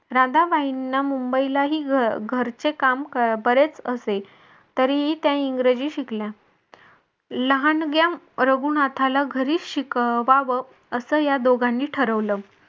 राधाबाईंना मुंबईलाही घरचे काम बरेच असे तरीही त्या इंग्रजी शिकल्या लहानग्या रघुनाथाला घरी शिकवावं अस या दोघांनी ठरवलं.